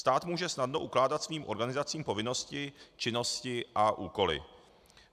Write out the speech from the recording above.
Stát může snadno ukládat svým organizacím povinnosti, činnosti a úkoly.